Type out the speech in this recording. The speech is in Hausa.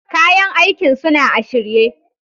Kayan aikin suna a shirye.